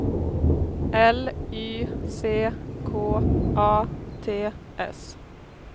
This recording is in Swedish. L Y C K A T S